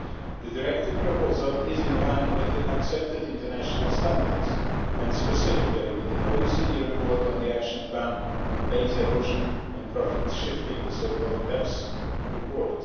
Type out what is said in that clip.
The directive proposal is in line with accepted international standards and specifically with the OECD report on the action plan on base erosion and profit shifting the so called BEPS report.